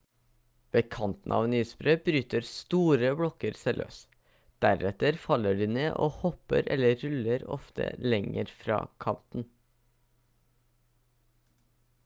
ved kanten av en isbre bryter store blokker seg løs deretter faller de ned og hopper eller ruller ofte lenger fra kanten